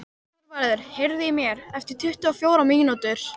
Þorvarður, heyrðu í mér eftir tuttugu og fjórar mínútur.